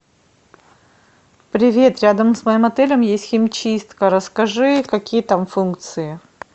привет рядом с моим отелем есть химчистка расскажи какие там функции